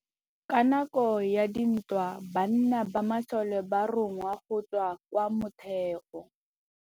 Ka nakô ya dintwa banna ba masole ba rongwa go tswa kwa mothêô.